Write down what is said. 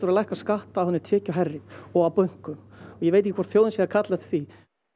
að lækka skatta á hina tekjuhærri og á bönkum og ég veit ekki hvort þjóðin sé að kalla eftir því